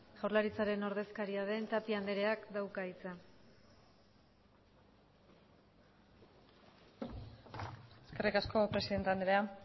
jaurlaritzaren ordezkaria den tapia andreak dauka hitza eskerrik asko presidente andrea